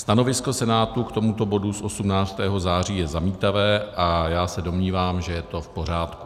Stanovisko Senátu k tomuto bodu z 18. září je zamítavé a já se domnívám, že je to v pořádku.